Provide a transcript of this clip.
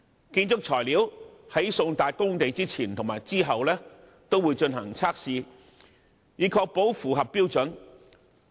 建築材料在送達工地的前後均會進行測試，以確保符合標準。